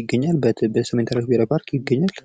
ይገኛል በሰሜን ተራሮች ብሔራዊ ፓርክ ይገኛል ።